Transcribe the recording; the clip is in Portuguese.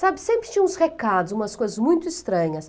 Sabe, sempre tinha uns recados, umas coisas muito estranhas.